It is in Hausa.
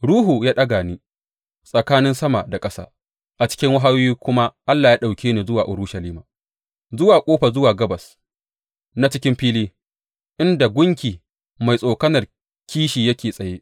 Ruhu ya ɗaga ni tsakanin sama da ƙasa, a cikin wahayoyi kuma Allah ya ɗauke ni zuwa Urushalima, zuwa ƙofa zuwa gabas na cikin fili, inda gunki mai tsokanar kishi yake tsaye.